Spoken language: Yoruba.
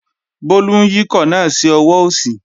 Bólú ń yíkọ̀ náà sí ọwọ́ òsì